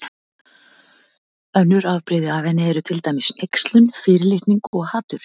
Önnur afbrigði af henni eru til dæmis hneykslun, fyrirlitning og hatur.